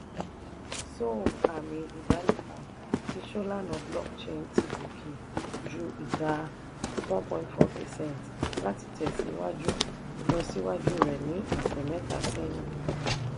sol àmì ìdánimọ̀ ti solana blockchain ti gòkè ju ìdá ( percent) one point four láti tẹ̀síwájú ìlọsíwájú rẹ̀ ní ọ̀sẹ̀ mẹ́ta sẹ́yìn.